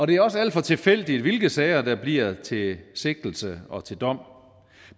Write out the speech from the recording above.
det er også alt for tilfældigt hvilke sager der bliver til sigtelse og til dom